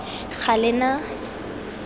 galena